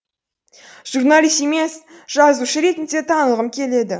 журналист емес жазушы ретінде танылғым келеді